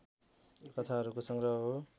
कथाहरूको संग्रह हो